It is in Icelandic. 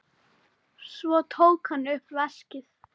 Svo tók hann upp veskið.